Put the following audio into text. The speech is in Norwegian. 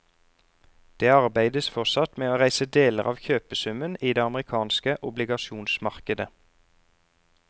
Det arbeides fortsatt med å reise deler av kjøpesummen i det amerikanske obligasjonsmarkedet.